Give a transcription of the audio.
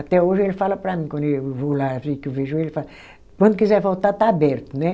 Até hoje ele fala para mim, quando eu vou lá, que eu vejo ele, ele fala, quando quiser voltar está aberto, né?